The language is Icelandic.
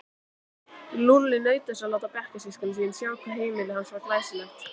Lúlli naut þess að láta bekkjarsystkini sín sjá hvað heimili hans var glæsilegt.